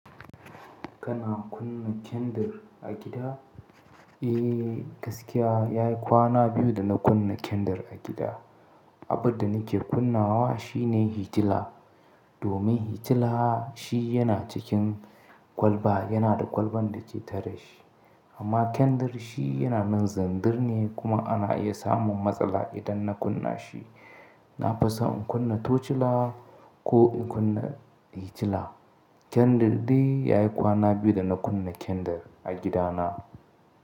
Kana kunna kyandir a gida? Eh, gaskiya ya yi kwana biyu da na kunna kyandir a gida. Abin da nake kunna wa shi ne hitila. Domin hitila shi yana cikin kwalba, yana da kwalban da ke tare shi. Amma kyandir shi yana nan zandir ne kuma ana iya samun matsala idan na kunna shi. Na fisa in kunna tochila ko in kunna hitila. Kyandir dai ya yi kwana biyu da na kunna kyandir a gidana.